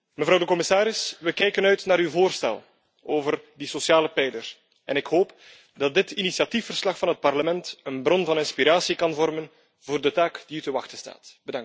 Mevrouw de commissaris, we kijken uit naar uw voorstel over die sociale pijler en ik hoop dat dit initiatiefverslag van het Parlement een bron van inspiratie kan vormen voor de taak die u te wachten staat.